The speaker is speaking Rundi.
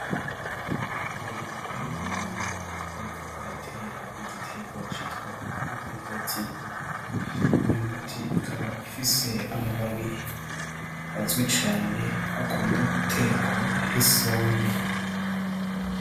Umuntu ari mu murima ariko aratera igiterwa citwa umwumbati, inyumbati ikaba ifise amababi azwi cane akunda gutekwa nk'isombe.